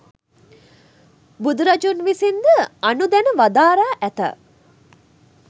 බුදුරජුන් විසින් ද අනුදැන වදාරා ඇත.